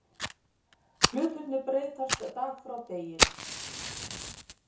Hlutirnir breytast dag frá degi